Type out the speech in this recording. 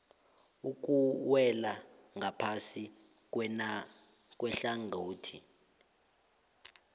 okuwela ngaphasi kwehlangothi